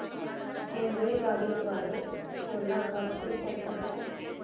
रेल्वेगाडी द्वारे कोलाघाट ते कोलकता